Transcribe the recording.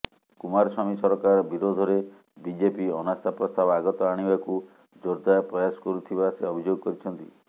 କୁମାରସ୍ୱାମୀ ସରକାର ବିରୋଧରେ ବିଜେପି ଅନାସ୍ଥା ପ୍ରସ୍ତାବ ଆଗତ ଆଣିବାକୁ ଜୋରଦାର ପ୍ରୟାସ କରୁଥିବା ସେ ଅଭିଯୋଗ କରିଛନ୍ତି